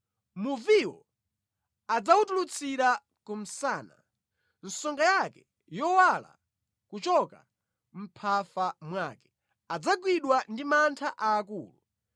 Muviwo adzawutulutsira ku msana, songa yake yowala kuchoka mʼmphafa mwake. Adzagwidwa ndi mantha aakulu;